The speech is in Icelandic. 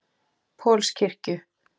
Pauls kirkju.